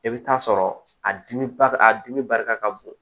I bɛ taa sɔrɔ a dimi ba a dimi barika ka bon